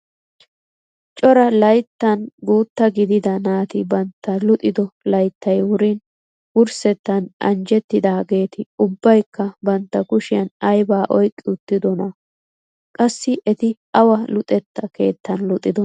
Cora layttan guutta gidida naati bantta luxido layttay wurin wurssettan anjjetidaageti ubbaykka bantta kushiyaan aybaa oyqqi uttidonaa? qassi eti awa luxetta keettan luxxidonaa?